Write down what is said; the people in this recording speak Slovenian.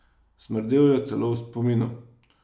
Smrdel je celo v spominu.